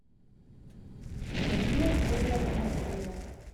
пелагея федоровна набиева